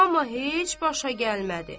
Amma heç başa gəlmədi.